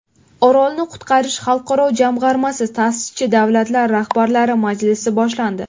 Orolni qutqarish xalqaro jamg‘armasi ta’sischi davlatlari rahbarlari majlisi boshlandi.